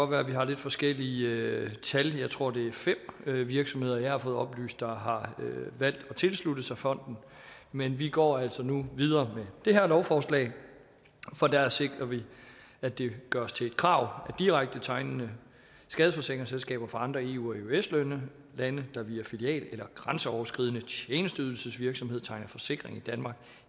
være at vi har lidt forskellige tal jeg tror det er fem virksomheder som jeg har fået oplyst har har valgt at tilslutte sig fonden men vi går altså nu videre med det her lovforslag for her sikrer vi at det gøres til et krav at direkte tegnende skadesforsikringsselskaber fra andre eu og eøs lande lande der via filial eller grænseoverskridende tjenesteydelsesvirksomhed tegner forsikring